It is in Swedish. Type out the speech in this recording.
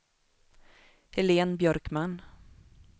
Helene Björkman